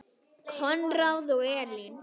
Konráð og Elín.